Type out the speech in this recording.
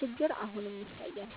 ችግር አሁንም ይታያል።